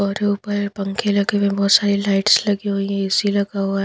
और ऊपर पंखे लगे हुए हैं बहोत सारे लाइट्स लगी हुई है ए_सी लगा हुआ है।